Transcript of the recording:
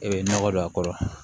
E bɛ nɔgɔ don a kɔrɔ